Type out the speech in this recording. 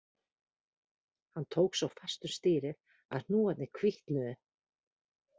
Hann tók svo fast um stýrið að hnúarnir hvítnuðu